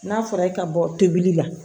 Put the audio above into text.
N'a fɔra e ka bɔ tobili la